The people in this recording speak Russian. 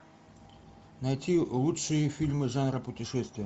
найти лучшие фильмы жанра путешествия